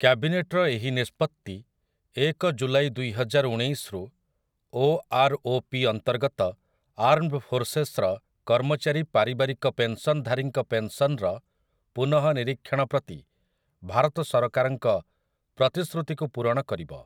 କ୍ୟାବିନେଟର ଏହି ନିଷ୍ପତ୍ତି ଏକ ଜୁଲାଇ ଦୁଇହଜାର ଉଣେଇଶରୁ ଓ.ଆର୍.ଓ.ପି. ଅନ୍ତର୍ଗତ ଆର୍ମଡ୍ ଫୋର୍ସେସ୍‌ର କର୍ମଚାରୀ ପାରିବାରିକ ପେନ୍‌ସନ୍‌ଧାରୀଙ୍କ ପେନ୍‌ସନ୍‌ର ପୁନଃନିରୀକ୍ଷଣ ପ୍ରତି ଭାରତ ସରକାରଙ୍କ ପ୍ରତିଶ୍ରୁତିକୁ ପୂରଣ କରିବ ।